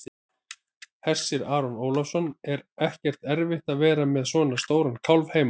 Hersir Aron Ólafsson: Er ekkert erfitt að vera með svona stóran kálf heima?